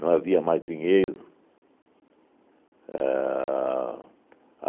Não havia mais dinheiro. A